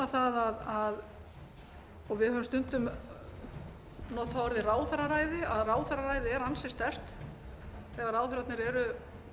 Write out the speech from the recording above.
það og við höfum stundum notað orðið ráðherraræði ráðherraræði er ansi sterkt þegar ráðherrarnir eru